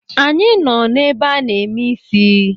Anyị nọ n’ebe a na-eme isi